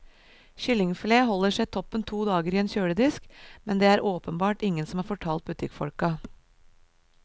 Kyllingfilet holder seg toppen to dager i en kjøledisk, men det er det åpenbart ingen som har fortalt butikkfolka.